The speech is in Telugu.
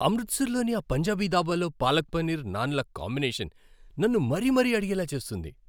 అమృత్సర్లోని ఆ పంజాబీ దాబాలో పాలక్ పనీర్, నాన్ల కాంబినేషన్ నన్ను మరీ మరీ అడిగేలా చేస్తుంది.